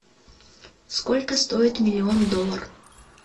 сколько стоит миллион доллар